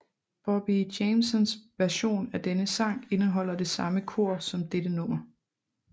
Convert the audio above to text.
Bobby Jamesons version af denne sang indeholder det samme kor som dette nummer